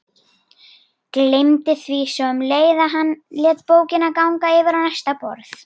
Gleymdi því svo um leið og hann lét bókina ganga yfir á næsta borð.